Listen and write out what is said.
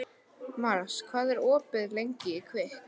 Mars, hvað er opið lengi í Kvikk?